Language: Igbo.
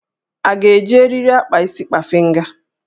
A ga-eji eriri akpa isi kpafịnga?